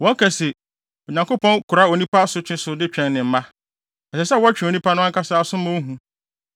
Wɔka se, ‘Onyankopɔn kora onipa asotwe so de twɛn ne mma.’ Ɛsɛ sɛ ɔtwe onipa no ankasa aso ma ohu.